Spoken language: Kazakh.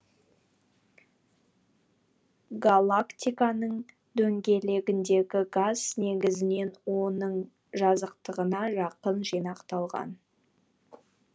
галактиканың дөңгелегіндегі газ негізінен оның жазықтығына жақын жинакталған